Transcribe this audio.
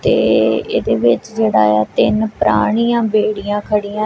ਤੇ ਇਹਦੇ ਵਿੱਚ ਜਿਹੜਾ ਐ ਤਿੰਨ ਪੁਰਾਣੀਆਂ ਬੇੜੀਆਂ ਖੜੀਆਂ--